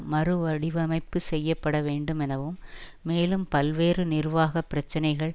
மறு வடிவமைப்பு செய்ய பட வேண்டுமெனவும் மேலும் பல்வேறு நிர்வாக பிரச்சனைகள்